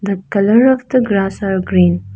the colour of the grass are green.